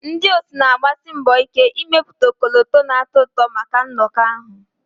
Ndị otu na-agbasi mbọ ike ịmepụta ọkọlọtọ na-atọ ụtọ maka nnọkọ ahụ